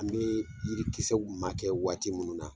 An be yirikisɛw ma kɛ waati munnu na